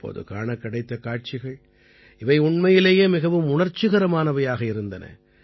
அப்போது காணக் கிடைத்த காட்சிகள் இவை உண்மையிலேயே மிகவும் உணர்ச்சிகரமானவையாக இருந்தன